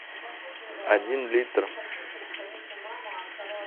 один литр